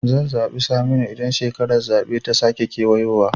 Zan zaɓi Saminu idan shekarar zaɓe ta sake kewayowa